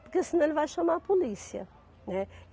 Porque senão ele vai chamar a polícia, né?